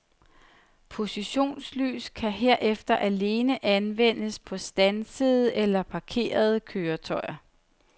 Positionslys kan herefter alene anvendes på standsede eller parkerede køretøjer.